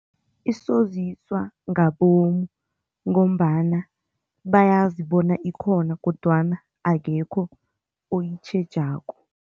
Isoziswa ngabomu ngombana bayazi bona ikhona kodwana akekho oyitjhejako.